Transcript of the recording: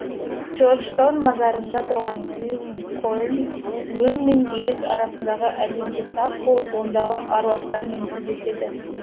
джорджтаун мазарында тұрған линкольн өң мен елес арасындағы әлемге тап болып ондағы аруақтармен тілдеседі